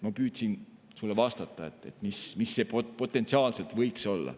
Ma püüdsin sulle vastata, kuidas see potentsiaalselt võiks olla.